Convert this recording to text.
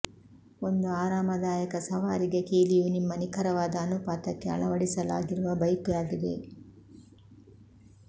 ಒಂದು ಆರಾಮದಾಯಕ ಸವಾರಿಗೆ ಕೀಲಿಯು ನಿಮ್ಮ ನಿಖರವಾದ ಅನುಪಾತಕ್ಕೆ ಅಳವಡಿಸಲಾಗಿರುವ ಬೈಕುಯಾಗಿದೆ